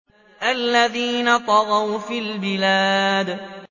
الَّذِينَ طَغَوْا فِي الْبِلَادِ